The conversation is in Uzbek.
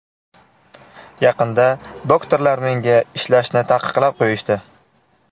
Yaqinda doktorlar menga ishlashni taqiqlab qo‘yishdi.